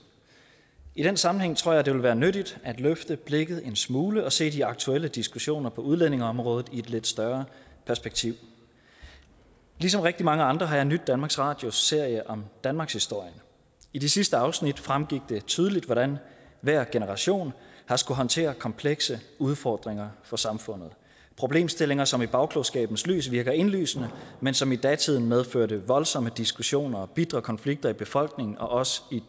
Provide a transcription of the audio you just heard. i den sammenhæng tror jeg det vil være nyttigt at løfte blikket en smule og se de aktuelle diskussioner på udlændingeområdet i et lidt større perspektiv ligesom rigtig mange andre har jeg nydt danmarks radios serie om danmarkshistorien i de sidste afsnit fremgik det tydeligt hvordan hver generation har skullet håndtere komplekse udfordringer for samfundet problemstillinger som i bagklogskabens lys virker indlysende men som i datiden medførte voldsomme diskussioner og bitre konflikter i befolkningen og også